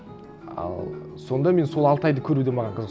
ал сонда мен сол алтайды көру де маған қызық